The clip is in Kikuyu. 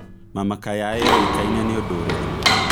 mama kayai o ĩkaĩne nĩ ũndũ ũrĩkũ